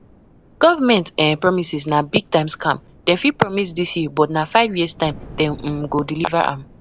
Government um promises na big time scam, dem fit promise dis year but na five years time dem um go deliver am.